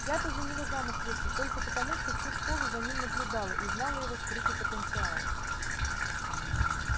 я-то за него замуж вышла только потому что всю школу за ним наблюдала и знала его скрытый потенциал